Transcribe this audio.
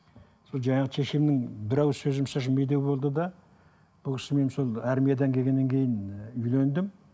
сол жаңағы шешемнің бір ауыз сөзі демеу болды да бұл кісімен сол армиядан келгеннен кейін і үйлендім